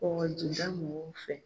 Kɔkɔjida mɔgɔw fɛ.